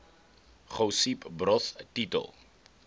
josip broz tito